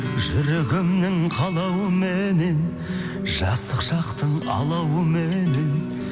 жүрегімнің қалауыменен жастық шақтың алауыменен